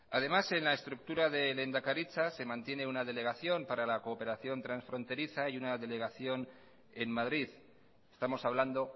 además en la estructura de lehendakaritza se mantiene una delegación para la cooperación transfronteriza y una delegación en madrid estamos hablando